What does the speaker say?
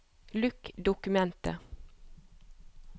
Lukk dokumentet